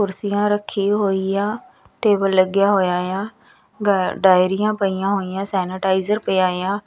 ਕੁਰਸੀਆਂ ਰੱਖੀ ਹੋਈ ਆ ਟੇਬਲ ਲੱਗਿਆ ਹੋਇਆ ਆ ਗ ਡਾਇਰੀਆਂ ਪਈਆਂ ਹੋਈਆਂ ਸੇਨੇਟਾਇਜ਼ਰ ਪਿਆ ਆ।